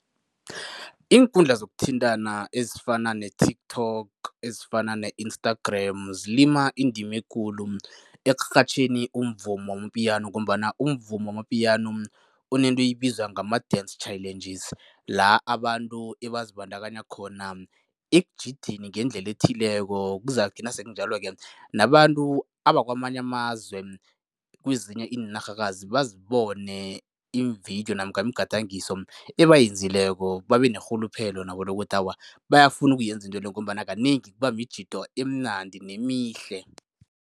Iinkundla zokuthintana ezifana ne-TikTok ezifana ne-Instagram zilima indima ekulu ekurhatjheni umvumo wama-piano ngombana umvumo wama-piano unento ezibizwa ngama-dance challenges la abantu ebazibandakanya khona ekujideni ngendlela ethileko. Kuzakuthi nasekunjalo-ke nabantu abakwamanye amazwe, kwezinye iinarhakazi bazibone iimvidiyo namkha imigadangiso ebayenzileko, babe nerhuluphelo nabo lokuthi awa, bayafuna ukuyenza intwele ngombana kanengi kuba mijido emnandi nemihle.